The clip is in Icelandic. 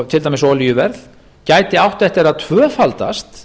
til dæmis olíuverð gæti átt eftir að tvöfaldast